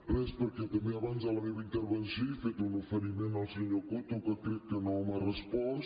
res perquè també abans en la meva intervenció he fet un oferiment al senyor coto que crec que no m’ha respost